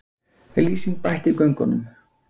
Lýsing bætt í göngunum